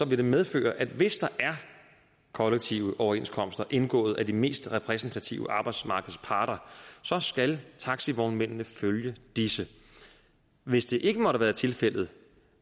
vil det medføre at hvis der er kollektive overenskomster indgået af de mest repræsentative arbejdsmarkedsparter så skal taxivognmændene følge disse hvis det ikke måtte være tilfældet